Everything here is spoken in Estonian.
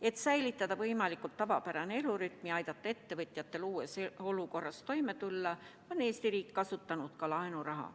Et säilitada võimalikult tavapärane elurütm ja aidata ettevõtjatel uues olukorras toime tulla, on Eesti riik kasutanud ka laenuraha.